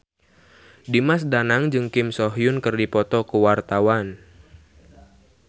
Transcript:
Dimas Danang jeung Kim So Hyun keur dipoto ku wartawan